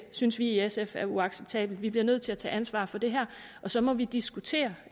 synes vi i sf er uacceptabelt vi bliver nødt til at tage ansvar for det her og så må vi diskutere